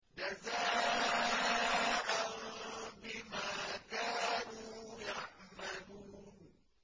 جَزَاءً بِمَا كَانُوا يَعْمَلُونَ